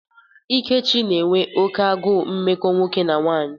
Ikechi n'enwe oke agụụ mmekọ nwoke na nwanyị.